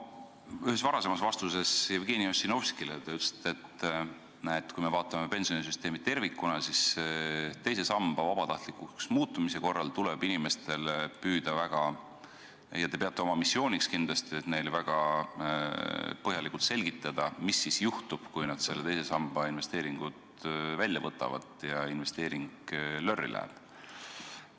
Oma ühes varasemas vastuses Jevgeni Ossinovskile te ütlesite, et kui me vaatame pensionisüsteemi tervikuna, siis teise samba vabatahtlikuks muutumise korral tuleb inimestele väga põhjalikult – te peate seda oma missiooniks – selgitada, mis siis juhtub, kui nad teise samba investeeringu välja võtavad ja see investeering lörri läheb.